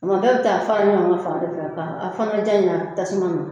Mɛ bɛɛ bɛ taa fara ɲɔgɔn ka fan fɛ a fanga diya ɲa tasuma ma